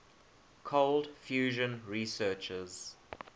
cold fusion researchers